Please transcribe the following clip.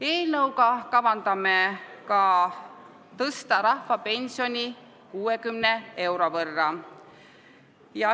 Eelnõuga kavandame rahvapensioni tõstmist 60 euro võrra.